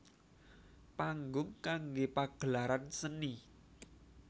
Panggung kanggé pagelaran seni